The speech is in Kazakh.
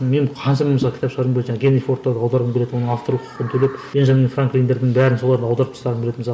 мен қаншама мысалы кітап шығарғым келеді жаңағы генри фордты аударғым келеді олардың жаңағы авторлық құқығын төлеп бенджамин франклиндердің бәрін соларды аударып тастағым келеді мысалы